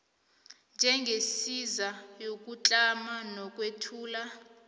njengesiza yokutlama nokwethula